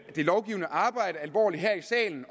det lovgivende arbejde her i salen